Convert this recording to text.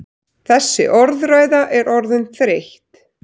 Þessi orðræða er orðin þreytt!